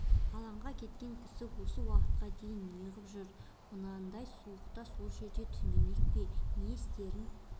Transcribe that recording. алаңға кеткен кісі осы уақытқа дейін неғып жүр мынадай суықта сол жерде түнемек пе не істерін